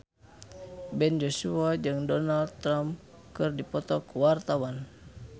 Ben Joshua jeung Donald Trump keur dipoto ku wartawan